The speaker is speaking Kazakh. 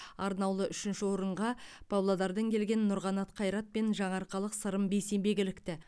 арнаулы үшінші орынға павлодардан келген нұрқанат қайрат пен жаңаарқалық сырым бейсенбек ілікті